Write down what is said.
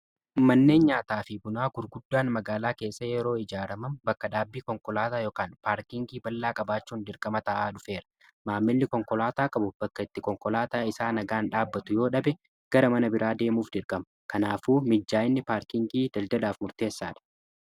manneen nyaataa fi bunaa gurguddaan magaalaa keessa yeroo ijaaramam bakka dhaabbii konkolaataa ykn paarkingii ballaa qabaachuun dirgama ta'aa dhufeera. maammilli konkolaataa qabu bakka itti konkolaataa isaa nagaan dhaabbatu yoo dhabe gara mana biraa deemuuf dirqaama. kanaafuu mijaa'inni paarkingii daldaladhaaf murteessaa dha.